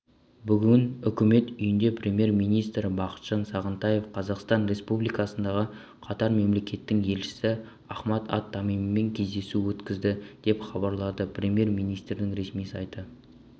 бүгін үкімет үйінде премьер-министрі бақытжан сағынтаев қазақстан республикасындағы катар мемлекетінің елшісі ахмад ат-тамимимен кездесу өткізді деп хабарлады премьер-министрдің ресми сайты